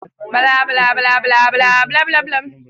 Baffa ya kalla shirin Mu shaƙata.